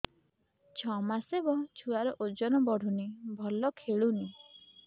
ଛଅ ମାସ ହବ ଛୁଆର ଓଜନ ବଢୁନି ଭଲ ଖେଳୁନି